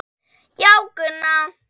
Já, Gunna.